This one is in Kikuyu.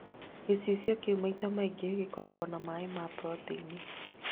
Gĩcicio kĩũ maita maingĩ gĩkoragwo na maĩ na proteini